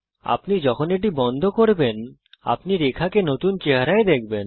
আপনি যখন এটি বন্ধ করবেন আপনি রেখাকে নতুন চেহারায় দেখবেন